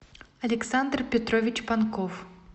александр петрович панков